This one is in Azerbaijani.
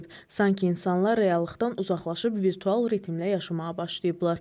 Sanki insanlar reallıqdan uzaqlaşıb virtual ritmlə yaşamağa başlayıblar.